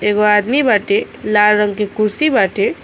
एगो आदमी बाटे लाल रंग के कुर्सी बाटे।